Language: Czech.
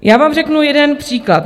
Já vám řeknu jeden příklad.